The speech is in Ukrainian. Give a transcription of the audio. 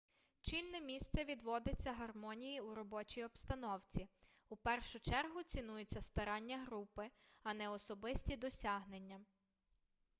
чільне місце відводиться гармонії у робочій обстановці у першу чергу цінуються старання групи а не особисті досягнення